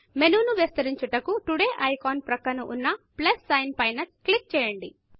menu ను విస్తరించుటకు Todayటుడే ఐకాన్ ప్రక్కన ఉన్న ప్లస్ సైన్ పైన క్లిక్ చేయండి